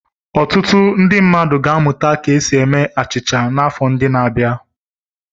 Ọtụtụ ndị mmadụ ga-amụta ka esi eme achịcha n'afọ ndị na-abịa.